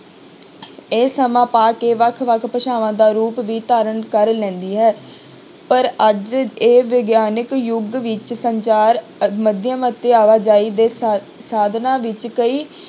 ਇਹ ਸਮਾਂ ਪਾ ਕੇ ਵੱਖ ਵੱਖ ਭਾਸ਼ਾਵਾਂ ਦਾ ਰੂਪ ਵੀ ਧਾਰਨ ਕਰ ਲੈਂਦੀ ਹੈ ਪਰ ਅੱਜ ਇਹ ਵਿਗਿਆਨਕ ਯੁਗ ਵਿੱਚ ਸੰਚਾਰ ਅਤੇ ਆਵਾਜ਼ਾਈ ਦੇ ਸਾ~ ਸਾਧਨਾਂ ਵਿੱਚ ਕਈ